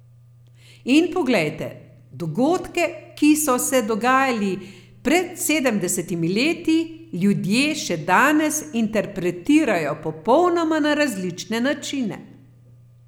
In poglejte, dogodke, ki so se dogajali pred sedemdesetimi leti, ljudje še danes interpretirajo popolnoma na različne načine.